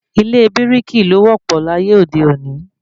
Ilé bírìkì ló wọ́ pọ̀ láyé òde òní